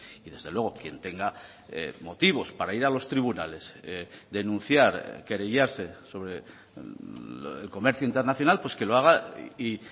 y desde luego quien tenga motivos para ir a los tribunales denunciar querellarse sobre el comercio internacional pues que lo haga y